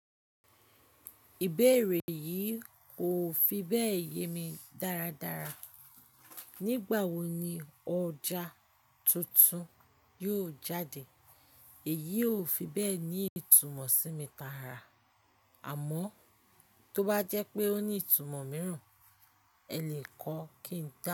Ìbéèrè yìí kò fi bẹ́ẹ̀ yé mi dáradára. Nígbà wo ni ọjà tuntun yóò jáde? Èyí ò fi bẹ́ẹ̀ ní ìtumọ̀ sí mi tààrà, àmọ́ tó bá jẹ́ pé ó ní ìtumọ̀ mìíràn, ẹ lè kọ́ kí n dá.